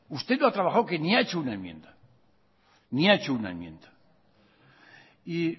usted no ha trabajado que ni ha hecho una enmienda y